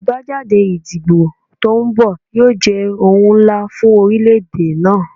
Abajade idibo to nbọ yoo jẹ ohun nla fun orilẹ-ede naa